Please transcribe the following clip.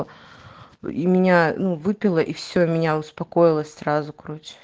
и меня ну выпила и все меня успокоилась сразу